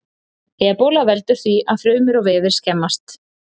Ebóla veldur því að frumur og vefir skemmast.